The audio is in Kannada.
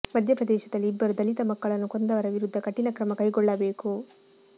ಮಧ್ಯ ಪ್ರದೇಶದಲ್ಲಿ ಇಬ್ಬರು ದಲಿತ ಮಕ್ಕಳನ್ನು ಕೊಂದವರ ವಿರುದ್ಧ ಕಠಿಣ ಕ್ರಮ ಕೈಗೊಳ್ಳಬೇಕು